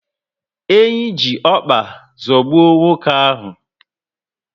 Enyi ji ọkpa zọgbuo nwoke ahu